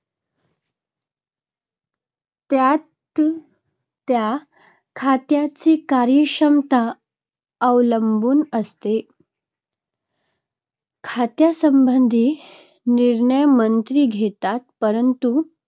त्या-त्या खात्याची कार्यक्षमता अवलंबून असते. खात्यासंबंधी निर्णय मंत्री घेतात, परंतु